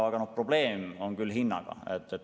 Aga probleem on tõesti hinnaga.